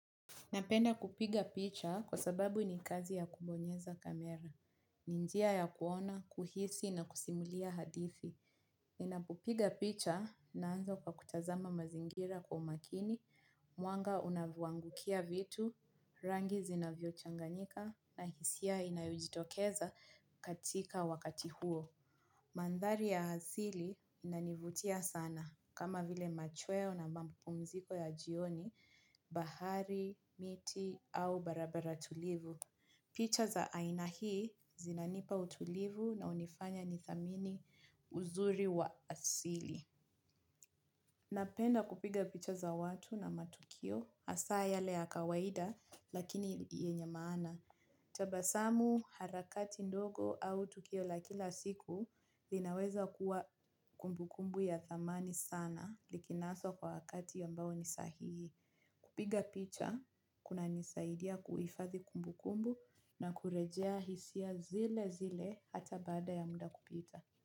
Napenda kupiga picha kwa sababu ni kazi ya kubonyeza kamera. Ninjia ya kuona, kuhisi na kusimulia hadithi. Napo piga picha nanza kwa kutazama mazingira kwa umakini mwanga unavyo angukia vitu rangi zinavyo changanyika na hisia inayojitokeza katika wakati huo. Mantari ya asili inanivutia sana kama vile machweo na mapumziko ya jioni, bahari, miti au barabara tulivu. Picha za aina hii zinanipa utulivu na hunifanya ni thamini uzuri wa asili. Napenda kupiga picha za watu na matukio hasa yale yakawaida lakini yenye maana. Tabasamu harakati ndogo au tukio la kila siku linaweza kuwa kumbukumbu ya thamani sana likinaswa kwa wakati ambao ni sahihi. Kupiga picha, kuna nisaidia kuhifadhi kumbu kumbu na kurejea hisia zile zile hata baada ya muda kupita.